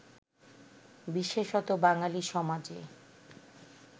বিশেষত বাঙালি সমাজে